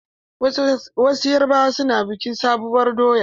Wasu yarubawa na bikin sabuwar doya.